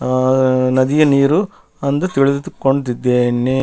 ಆ ನದಿಯ ನೀರು ಅಂದು ತಿಳಿದುಕೊಂಡಿದ್ದೇನೆ.